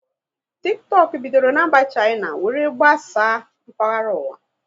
Tiktọk bidoro na mba Shaina were gbasaa mkpahara ụwa